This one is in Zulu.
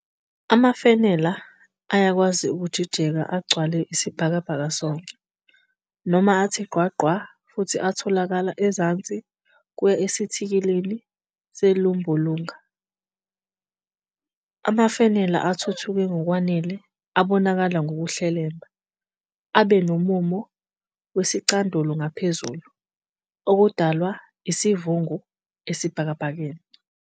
Amafenala ayakwazi ukujijeka agcwale isibhalabhaka sonke, noma athi gqwa gqwa futhi atholakala ezansi kuya esithikilini sezulumbulunga. Amafenala athuthuke ngokwanele abonakala ngkuhlelemba, abe nomumo wesicandulo ngaphezulu, okudalwa isiivungu esibhakabhakeni.